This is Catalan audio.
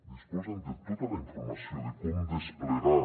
disposen de tota la informació de com desplegar